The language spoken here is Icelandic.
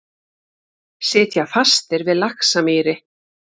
Sitja fastir við Laxamýri